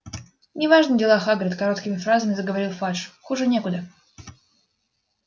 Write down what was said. неважные дела хагрид короткими фразами заговорил фадж хуже некуда